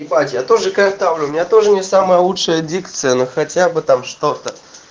ебать я тоже картавлю у меня тоже не самая лучшая дикция на хотя бы там чтото